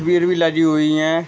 वीर भी लगी हुई है।